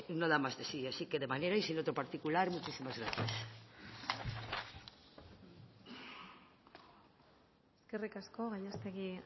no da más de sí así que de manera y sin otro particular muchísimas gracias eskerrik asko gallástegui